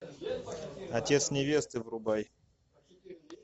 отец невесты врубай